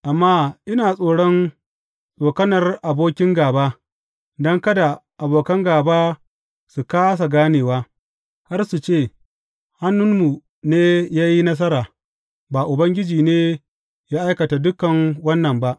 Amma ina tsoron tsokanar abokin gāba, don kada abokan gāba su kāsa ganewa har su ce, Hannunmu ne ya yi nasara; ba Ubangiji ne ya aikata dukan wannan ba.’